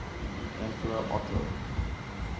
emperor otto